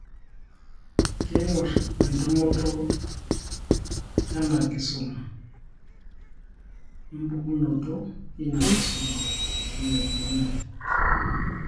Keingorr entumoto ena kisuma, empokunoto ina kisuma, weneikununi.